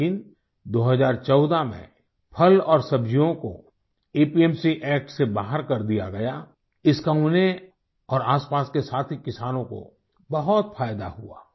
लेकिन 2014 में फल और सब्जियों को एपीएमसी एसीटी से बाहर कर दिया गया इसका उन्हें और आसपास के साथी किसानों को बहुत फायदा हुआ